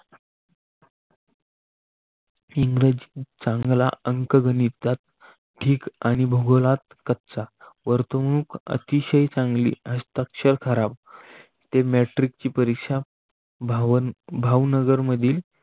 इंग्रजीत चांगला अंकगणित ठीक आणि भूगोलात कच्चा वर्तुळुक अतिशय चांगली हस्ताक्षर ठराव ते मॅट्रिकची परीक्षा भावन भावनगर मधील